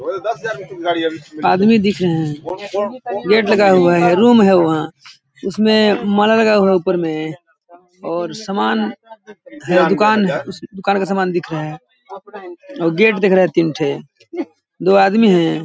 आदमी दिख रहे है गेट लगा हुआ है रूम है वहाँ उसमे माला लगा हुआ है ऊपर मे और सामान है दुकान उस दुकान का सामान दिख रहा है और गेट दिख रहा है तीन ठे दो आदमी है।